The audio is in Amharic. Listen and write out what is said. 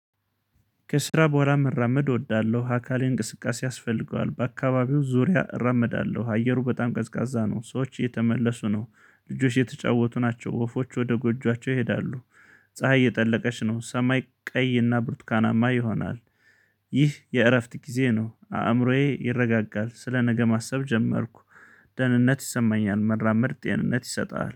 ከስራ በኋላ መራመድ እወዳለሁ አካሌ እንቅስቃሴ ያስፈልገዋል በአካባቢው ዙሪያ እራመዳለሁ አየሩ በጣም ቀዝቃዛ ነው ሰዎች እየተመለሱ ነው ልጆች እየተጫወቱ ናቸው ወፎች ወደ ጎጆዋቸው ይሄዳሉ። ፀሀይ እየጠለቀች ነው ሰማይ ቀይና ብርቱካናማ ይሆናል። ይህ የእረፍት ጊዜ ነው አእምሮዬ ይረጋጋል ስለ ነገ ማሰብ ጀመርኩ። ደህንነት ይሰማኛል መራመድ ጤንነት ይሰጣል